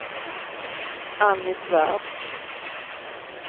Anny Svärd